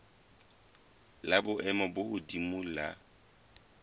la boemo bo hodimo la